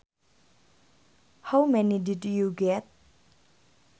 How many did you get